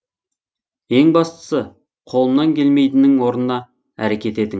ең бастысы қолымнан келмейдінің орнына әрекет